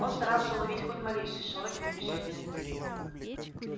он старался уловить хоть малейший шорох или движение